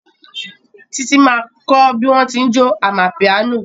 Títí ma kọ́ bí wọ́n tí ń jó amapiano